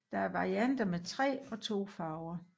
Der er varianter med 3 og 2 farver